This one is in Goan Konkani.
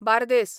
बांर्देस